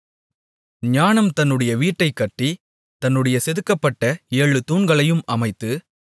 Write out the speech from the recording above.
ஞானம் தன்னுடைய வீட்டைக் கட்டி தன்னுடைய செதுக்கப்பட்ட ஏழு தூண்களையும் அமைத்து